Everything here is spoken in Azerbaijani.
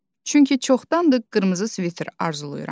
Çünki çoxdandır qırmızı sviter arzulayıram.